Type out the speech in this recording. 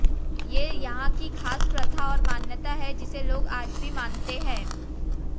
ये यहाँ की खास प्रथा और मान्यता है जिसे लोग आज भी मानते हैं